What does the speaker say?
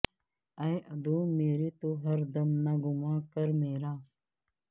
اے عدو میرے تو ہر دم نہ گماں کر میرا